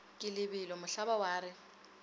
ke lebelo mohlaba wa re